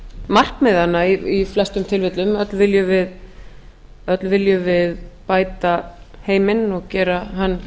markmiðanna í flestum tilfellum öll viljum við bæta heiminn og gera hann